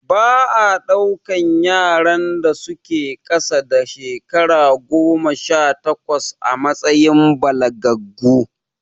Ba a ɗaukan yaran da su ke ƙasa da shekara goma sha takwas a matsayin balagaggu